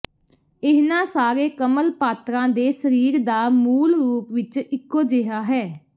ਇਹਨਾਂ ਸਾਰੇ ਕਮਲ ਪਾਤਰਾਂ ਦੇ ਸਰੀਰ ਦਾ ਮੂਲ ਰੂਪ ਵਿੱਚ ਇੱਕੋ ਜਿਹਾ ਹੈ